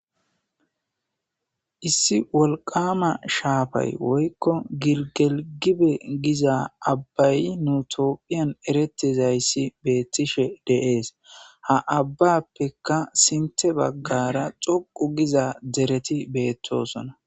Issi wolqama shafayi woyiko gilgile giza abayi nu tophiya eretizayisi betishe dee's ha abappeka sintha bagara dhoqu giza dereti betosona